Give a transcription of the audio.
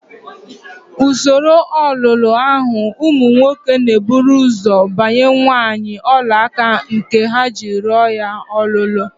N'usoro ọlọrọọhụụ, ụmụ nwoke na-eburu ụzọ gbanye nwaanyị ọlaaka nke ha ji rịọ ya ọlụlụ